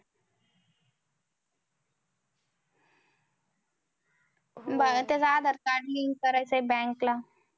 बाळा त्याचं Aadhar card link करायचंय bank ला.